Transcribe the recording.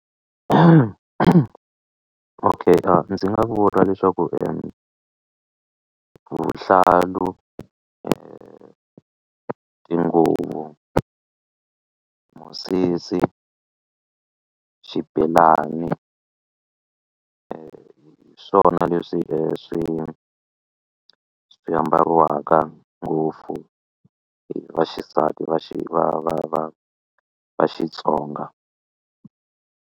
Okay a ndzi nga vula leswaku vuhlalu tinguvu musisi xibelani hi swona leswi swi swi ambariwaka ngopfu hi vaxisati va va va va Xitsonga.